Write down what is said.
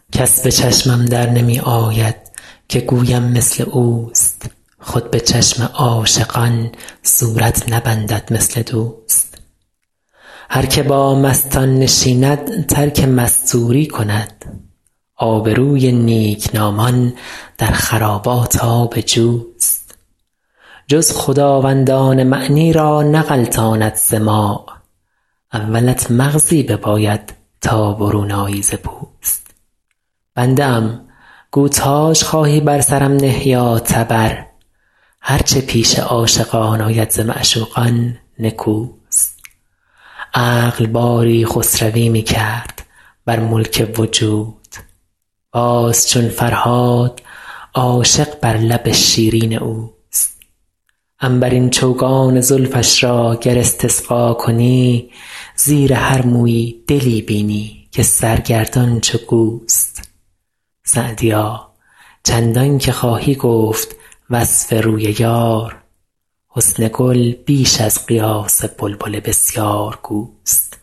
کس به چشمم در نمی آید که گویم مثل اوست خود به چشم عاشقان صورت نبندد مثل دوست هر که با مستان نشیند ترک مستوری کند آبروی نیکنامان در خرابات آب جوست جز خداوندان معنی را نغلطاند سماع اولت مغزی بباید تا برون آیی ز پوست بنده ام گو تاج خواهی بر سرم نه یا تبر هر چه پیش عاشقان آید ز معشوقان نکوست عقل باری خسروی می کرد بر ملک وجود باز چون فرهاد عاشق بر لب شیرین اوست عنبرین چوگان زلفش را گر استقصا کنی زیر هر مویی دلی بینی که سرگردان چو گوست سعدیا چندان که خواهی گفت وصف روی یار حسن گل بیش از قیاس بلبل بسیارگوست